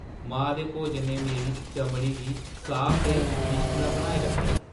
मां दे भोजन ने मेरी चमड़ी गी साफ ते लिश्कना बनाई रक्खेआ।